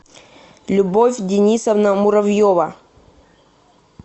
любовь денисовна муравьева